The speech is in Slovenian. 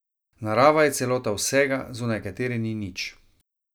Narava je celota vsega, zunaj katere ni nič.